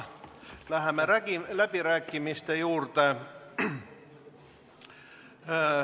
Läheme läbirääkimiste juurde.